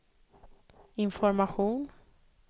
information